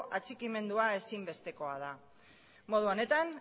atxikimendua ezinbestekoa da modu honetan